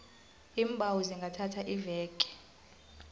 iimbawo zingathatha iveke